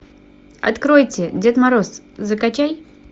откройте дед мороз закачай